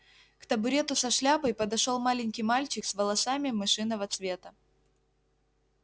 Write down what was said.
к табурету со шляпой подошёл маленький мальчик с волосами мышиного цвета